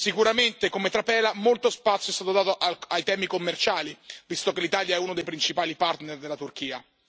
Sicuramente, come trapela, molto spazio è stato dato ai temi commerciali, visto che l'Italia è uno dei principali partner della Turchia.